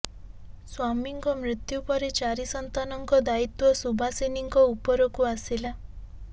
ସ୍ୱାମୀଙ୍କ ମୃତ୍ୟୁ ପରେ ଚାରି ସନ୍ତାନଙ୍କ ଦାୟିତ୍ୱ ସୁଭାଷିନୀଙ୍କ ଉପରକୁ ଆସିଲା